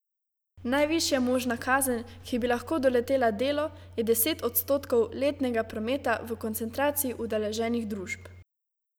Najvišja možna kazen, ki bi lahko doletela Delo, je deset odstotkov letnega prometa v koncentraciji udeleženih družb.